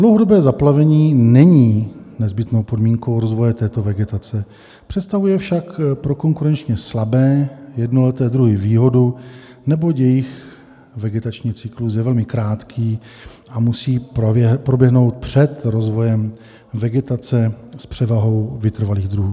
Dlouhodobé zaplavení není nezbytnou podmínkou rozvoje této vegetace, představuje však pro konkurenčně slabé jednoleté druhy výhodu, neboť jejich vegetační cyklus je velmi krátký a musí proběhnout před rozvojem vegetace s převahou vytrvalých druhů.